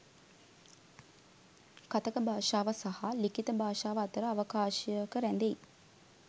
කථක භාෂාව සහ ලිඛිත භාෂාව අතර අවකාශයක රැඳෙයි.